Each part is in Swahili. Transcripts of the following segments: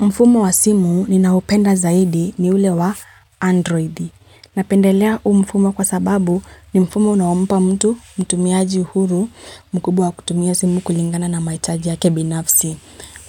Mfumo wa simu ninaupenda zaidi ni ule wa Android. Napendelea huu mfumo kwa sababu ni mfumo unaompa mtu mtumiaji uhuru mkubwa kutumia simu kulingana na maichaji ya kebinafsi.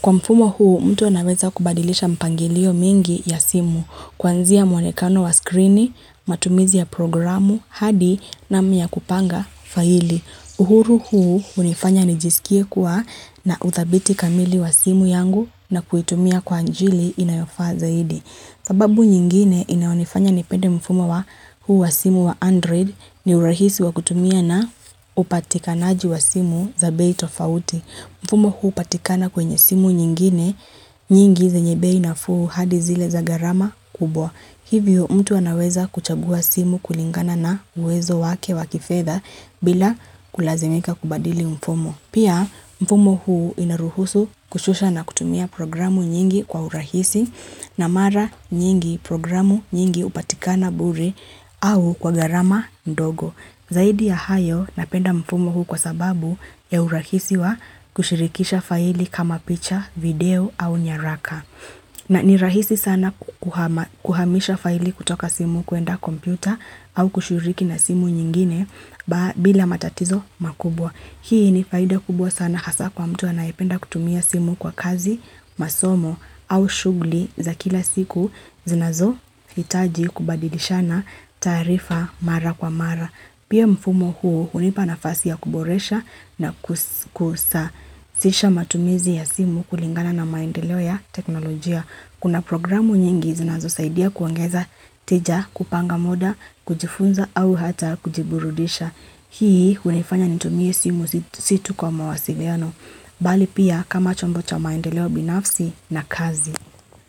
Kwa mfumo huu mtu anaweza kubadilisha mpangilio mingi ya simu kwanzia muonekano wa screen, matumizi ya programu, hadi na miya kupanga faili. Uhuru huu unifanya nijisikie kuwa na uthabiti kamili wa simu yangu na kuitumia kwa anjili inayofa zaidi. Sababu nyingine inaunifanya nipende mfumo wa huu wa simu wa Android ni urahisi wa kutumia na upatikanaji wa simu za bei tofauti. Mfumo huu upatikana kwenye simu nyingine nyingi za nyebei na fuu hadi zile za garama kubwa. Hivyo mtu anaweza kuchagua simu kulingana na uwezo wake wakifedha bila kulazimika kubadili mfumo. Pia mfumo huu inaruhusu kushusha na kutumia programu nyingi kwa urahisi na mara nyingi programu nyingi upatikana buri au kwa garama ndogo. Zaidi ya hayo napenda mfumo huu kwa sababu ya urahisiwa kushirikisha faili kama picha, video au nyaraka. Na ni rahisi sana kuhamisha faili kutoka simu kuenda kompyuta au kushiriki na simu nyingine bila matatizo makubwa. Hii ni faida kubwa sana hasa kwa mtu anayipenda kutumia simu kwa kazi, masomo au shughuli za kila siku zinazo hitaji kubadilishana taarifa mara kwa mara. Pia mfumo huo unipa na fasi ya kuboresha na kusa sisha matumizi ya simu kulingana na maendeleo ya teknolojia. Kuna programu nyingi zinazo saidia kuongeza tija, kupanga muda, kujifunza au hata kujiburudisha. Hii unifanya nitumie simu si tu kwa mawasiliano. Bali pia kama chombo cha maendeleo binafsi na kazi.